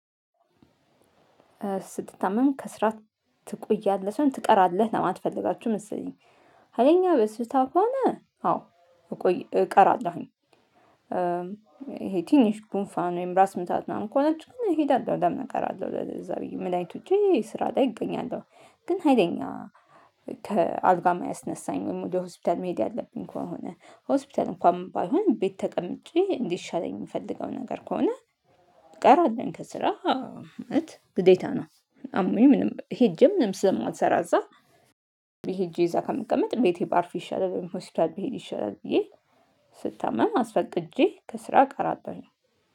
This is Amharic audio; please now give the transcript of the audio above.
ስትታመም ከስራህ ትቆያለህ ሰይሆን ትቀራለህ ለማለት ፈልጋችሁ መሰለኝ። ሀይለኛ በሽታ ከሆነ አዎ። እቀራለሁኝ። ይሄ ትንሽ ጉንፋን ወይም ራስ ምታትምናምን ከሆነች ግን እሄዳለሁ ለምን እንቀራለሁ ለዛ ብዬ መድሃኒት ውጨ ስራ ላይ እገኛለሁ። ግን ሀይለኛ ከአልጋ የማያስነሳኝ ወይም ወደ ሆስፒታል መሄድ ያለብኝ ከሆነ ሆስፒታል እንኳን ባይሆን ቤት ተቀምጬ እንዲሻለኝ የምፈልገው ነገር ከሆነ። እቀራለሁ ከስራ ምክንያት ግዴታ ነው። አሞኝ ምንም ሄጄ ምንም ስለማልሰራ እዛ። ሄጄ እዛ ከምቀመጥ ቤቴ ባርፍ ይሻላል ሆስፒታል ብሄድ ይሻላል ብዬ። ስታመም አስፈቅጄ ከስራ እቀራለሁ።